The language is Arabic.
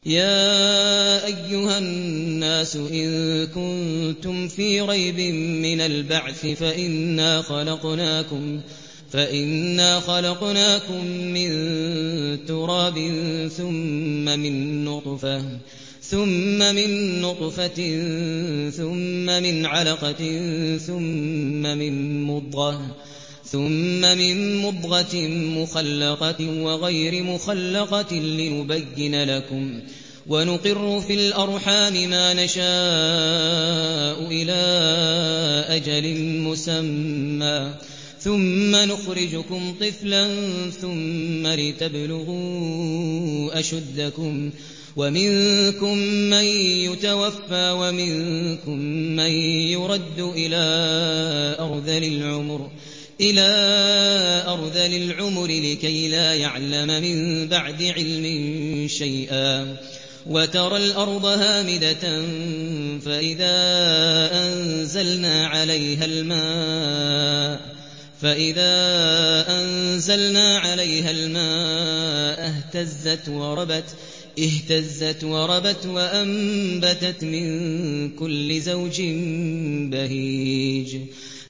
يَا أَيُّهَا النَّاسُ إِن كُنتُمْ فِي رَيْبٍ مِّنَ الْبَعْثِ فَإِنَّا خَلَقْنَاكُم مِّن تُرَابٍ ثُمَّ مِن نُّطْفَةٍ ثُمَّ مِنْ عَلَقَةٍ ثُمَّ مِن مُّضْغَةٍ مُّخَلَّقَةٍ وَغَيْرِ مُخَلَّقَةٍ لِّنُبَيِّنَ لَكُمْ ۚ وَنُقِرُّ فِي الْأَرْحَامِ مَا نَشَاءُ إِلَىٰ أَجَلٍ مُّسَمًّى ثُمَّ نُخْرِجُكُمْ طِفْلًا ثُمَّ لِتَبْلُغُوا أَشُدَّكُمْ ۖ وَمِنكُم مَّن يُتَوَفَّىٰ وَمِنكُم مَّن يُرَدُّ إِلَىٰ أَرْذَلِ الْعُمُرِ لِكَيْلَا يَعْلَمَ مِن بَعْدِ عِلْمٍ شَيْئًا ۚ وَتَرَى الْأَرْضَ هَامِدَةً فَإِذَا أَنزَلْنَا عَلَيْهَا الْمَاءَ اهْتَزَّتْ وَرَبَتْ وَأَنبَتَتْ مِن كُلِّ زَوْجٍ بَهِيجٍ